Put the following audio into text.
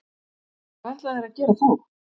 Hvað ætla þeir að gera þá?